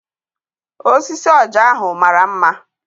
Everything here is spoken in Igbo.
Osisi ọja ahụ mara mma.